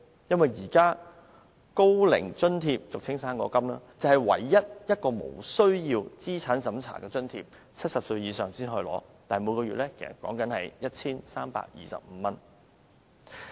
現時"生果金"是唯一無須資產審查的津貼 ，70 歲以上便可領取，但每月只有 1,325 元。